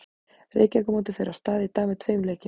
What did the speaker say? Reykjavíkurmótið fer af stað í dag með tveim leikjum.